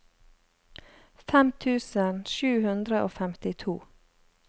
fem tusen sju hundre og femtito